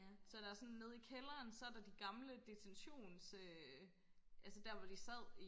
så der er sådan nede i kælderen så er der de gamle detentions øh altså der hvor de sad i